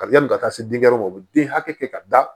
Kari yanni ka taa se denkɛ yɔrɔ ma u bɛ den hakɛ kɛ ka da